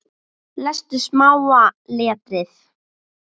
Lestu smáa letrið.